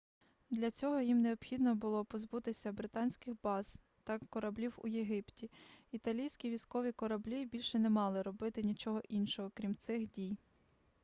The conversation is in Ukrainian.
для цього їм необхідно було позбутися британських баз та кораблів у єгипті італійські військові кораблі більше не мали робити нічого іншого крім цих дій